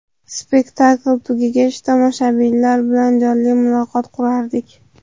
Spektakl tugagach tomoshabinlar bilan jonli muloqot qurardik.